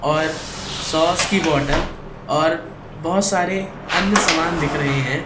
और सॉस की बॉटल और बहोत सारे अन्य समान दिख रहे हैं।